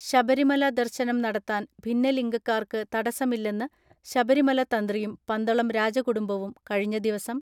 ശബരിമല ദർശനം നടത്താൻ ഭിന്നലിംഗക്കാർക്ക് തടസ്സമില്ലെന്ന് ശബരിമല തന്ത്രിയും പന്തളം രാജകുടുംബവും കഴിഞ്ഞ ദിവസം